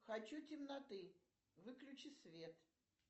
хочу темноты выключи свет